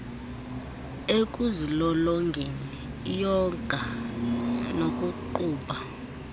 ekuzilolongeni iyoga nokuqubha